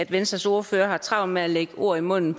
venstres ordfører har travlt med at lægge mig ord i munden